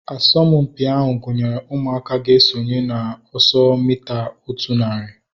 Asọmpi ahu gụnyere ụmụaka ga-esonye na ọsọ mita otu narị